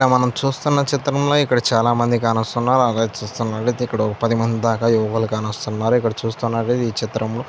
ఇక్కడ మనం చూస్తున్న చిత్రంలో ఇక్కడ చాల మంది కానొస్తున్నారు. అలాగే చుస్తే ఒక పది మంది దాక యువకులు కానొస్తున్నారు. మరి చూస్టునట్లైతే ఈ చిత్రంలో --